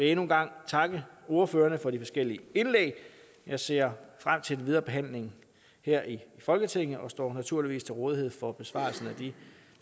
endnu en gang takke ordførerne for de forskellige indlæg jeg ser frem til den videre behandling her i folketinget og står naturligvis til rådighed for besvarelse af de